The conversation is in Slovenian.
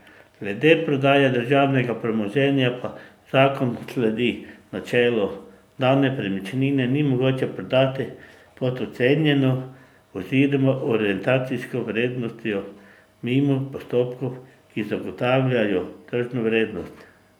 Glede prodaje državnega premoženja pa zakon sledi načelu, da nepremičnine ni mogoče prodati pod ocenjeno oziroma orientacijsko vrednostjo mimo postopkov, ki zagotavljajo tržno vrednost.